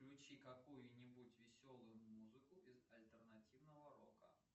включи какую нибудь веселую музыку из альтернативного рока